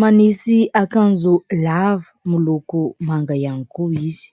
manisy akanjo lava miloko manga ihany koa izy.